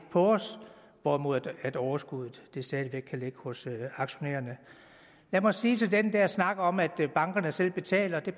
på os hvorimod overskuddet stadig væk kan ligge hos aktionærerne lad mig sige til den der snak om at bankerne selv betaler at det